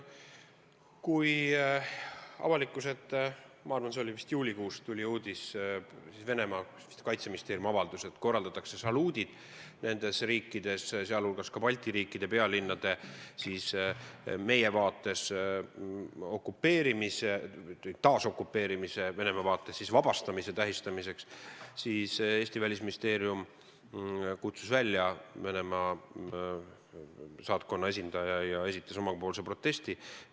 Kui avalikkuse ette – ma arvan, see oli vist juulikuus – tuli uudis Venemaa kaitseministeeriumi avalduse kohta, et nendes riikides korraldatakse saluudid muu hulgas Balti riikide pealinnade meie vaates taasokupeerimise, Venemaa vaates vabastamise tähistamiseks, siis Eesti Välisministeerium kutsus Venemaa saatkonna esindaja välja ja esitas omapoolse protesti.